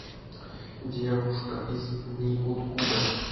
девушка из неоткуда